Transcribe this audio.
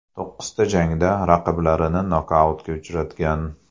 To‘qqizta jangda raqiblarini nokautga uchratgan.